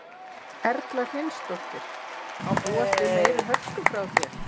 Erla Hlynsdóttir: Má búast við meiri hörku frá þér?